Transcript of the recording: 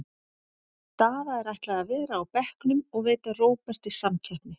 Daða er ætlað að vera á bekknum og veita Róberti samkeppni.